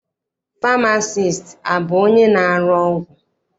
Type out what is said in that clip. Famasiisti abụ onye na-arụ ọgwụ?